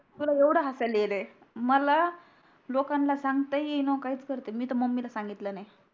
तुला येवड हासाला याला मला लोकानला सांगता येई णा काहीच करता येई णा मी तर मम्मी ला सांगितल नाही